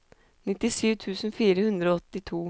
nittisju tusen fire hundre og åttito